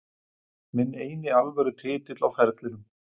Minn eini alvöru titill á ferlinum.